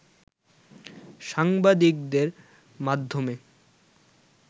সাংবাদিকদের মাধ্যমে